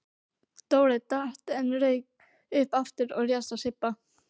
Dóri datt en rauk upp aftur og réðst á Sibba.